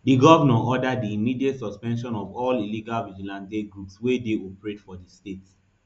di govnor order di immediate suspension of all illegal vigilante groups wey dey operate for di state